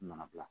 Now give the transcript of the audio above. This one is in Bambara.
Mana bila